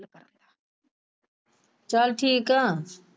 ਚਲ ਠੀਕ ਆ।